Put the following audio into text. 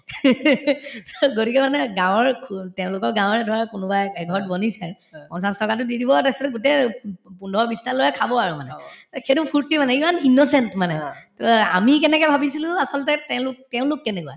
to গতিকে মানে গাঁৱৰ তেওঁলোকৰ গাঁৱৰে ধৰা কোনোবাই এঘৰত পঞ্চাশ টকাতো দি দিব তাৰপিছত গোটেই উব উব পোন্ধৰ বিশটা লৰাই খাব আৰু মানে এই সেইটো ফূৰ্তি মানে ইমান innocent মানে to আমি কেনেকে ভাবিছিলো আচলতে তেওঁলোক তেওঁলোক কেনেকুৱা